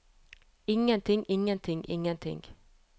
ingenting ingenting ingenting